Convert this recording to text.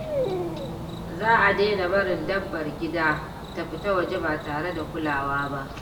Za a daina barin dabbar gida ta fita waje ba tare da kulawa ba.